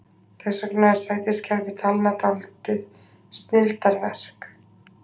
Þess vegna er sætiskerfi talna dálítið snilldarverk.